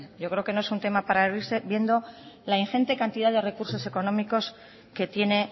yo creo que no es un tema para reírse viendo la ingente cantidad de recursos económicos que tiene